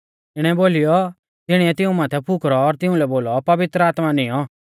इणौ बोलीयौ तिणीऐ तिऊं माथै फुकरौ और तिउंलै बोलौ पवित्र आत्मा निऔं